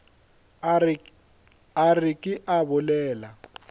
a re ke a bolela